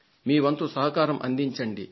మీ వంతు సహకారాన్ని అందించండి